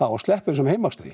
og sleppa þessum